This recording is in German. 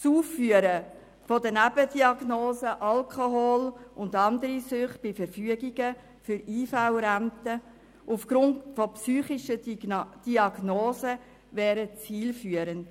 Das Aufführen der Nebendiagnosen Alkoholismus und andere Süchte bei Verfügungen von IV-Renten aufgrund von psychischen Diagnosen wäre zielführend.